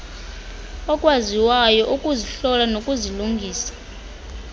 okwaziyo ukuzihlola nokuzilungisa